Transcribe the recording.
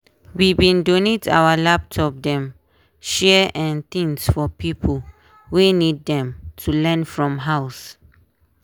we bin donate our old laptop dem share um things for di pipo wey need dem to learn from house.